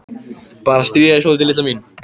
Bara að stríða þér svolítið, litla mín.